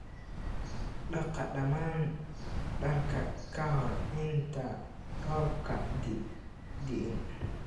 Dhaqa dhammaan dharkina ka hor inta roobka diin.